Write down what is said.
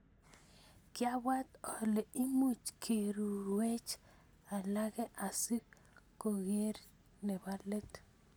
Kiabwaat ole imuch kiruiywech alake asi kokerech nebo let.